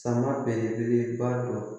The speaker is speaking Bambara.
Sama belebeleba dɔ